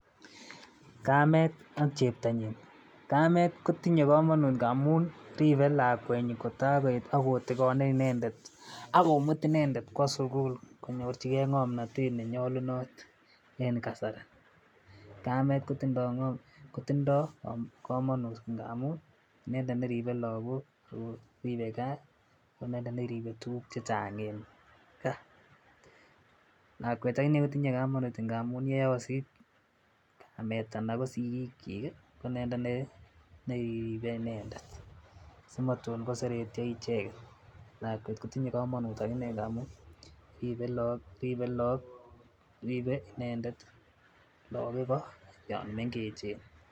Kamet ak cheptonyin, kamet kotinye komonut ngamun riibe lakwetyin taar koet ak kotigone inendet ak komut inendet kwo sugul konyorjigee ngomnotet nenyolunot en kasari, kamet kotindoo komonut ngamun inendet neribe logok ago riibe gaa ago inendet neribe tuguk chechang en gaa, lakwet akinee kotindo komonut ngamun yeosit kamet anan ko sigiik nyik ii ko inendet ne riipe inendet si motun koseretyo ichek, lakwet kotinye komonut aginee ngamun riipe loog riipe inendet logok igoo yoon mengechen